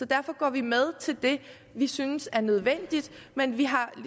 derfor går vi med til det vi synes er nødvendigt men vi har